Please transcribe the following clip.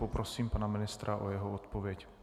Poprosím pana ministra o jeho odpověď.